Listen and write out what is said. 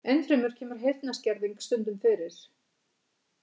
Enn fremur kemur heyrnarskerðing stundum fyrir.